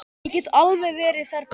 Ég get alveg verið þerna.